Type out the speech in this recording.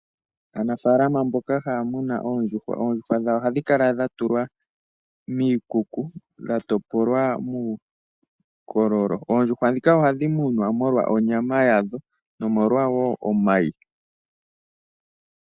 Aanafaalama mbkoka haya muna oondjuhwa, oondjuhwa dhawo ohadhi kala dhatulwa miikuku. Oondjuhwa dhika ohadhi munwa molwa onyama yadho nomolwa wo omayi.